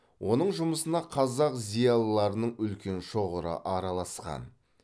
оның жұмысына қазақ зиялыларының үлкен шоғыры араласқан